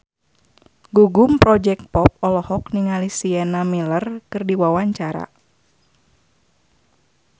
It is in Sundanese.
Gugum Project Pop olohok ningali Sienna Miller keur diwawancara